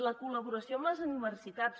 la col·laboració amb les universitats